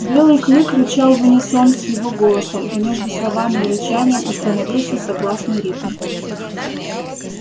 белый клык рычал в унисон с его голосом и между словами и рычанием установился согласный ритм